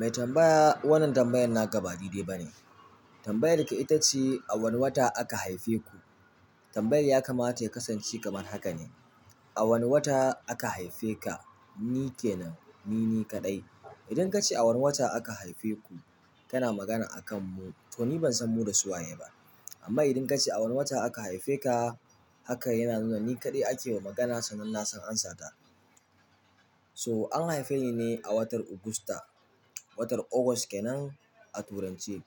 Mai tambaya wannan tambayan naka ba dai dai bane. Tambayar ka itace a wane wata aka haife ku? Tambayar ya kamata ya kasance kamar haka ne. A wane wata aka haife ka? Ni kenan, ni ni kaɗai. Idan kace a wane wata aka haife ku, kana magana akan mu. To ni bansan mu da su waye ba. Amma idan kace a wane wata aka haife ka, haka yana nuna ni kaɗai akewa magana sannan na san amsa ta. So an haife ni ne a watar Augusta, watar August kenan a turanci.